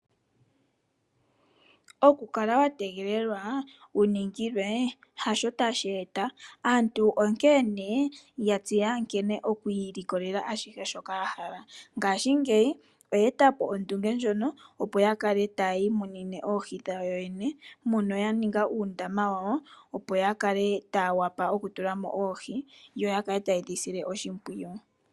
Okukala wa tegelelwa wu ningilwe hasho tashi eta. Aantu onkeene ya tseya nkene okwiilikolela ashihe shoka ya hala ngaashingeyi oye e tapo ondunge ndjono opo ya kale tayi imunine oohi dhawo yene mono ya ninga uundama wawo opo ya kale taya wapa okutulamo oohi yo ya kale taye dhi sile oshimpwiyu.